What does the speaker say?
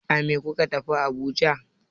A me kuka tafi Abuja?